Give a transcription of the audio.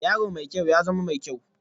Yaro mai kyau, ya zama mai kyau